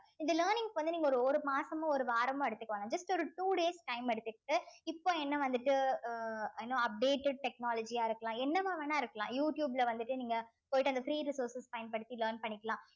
இந்த learning க்கு வந்து நீங்க ஒரு ஒரு மாசமோ ஒரு வாரமோ எடுத்துக்கோங்க just ஒரு two days time எடுத்துக்கிட்டு இப்போ என்ன வந்துட்டு அஹ் you know updated technology ஆ இருக்கலாம் என்னவா வேணா இருக்கலாம் யூ டியூப்ல வந்துட்டு நீங்க போயிட்டு அந்த free resources பயன்படுத்தி learn பண்ணிக்கலாம்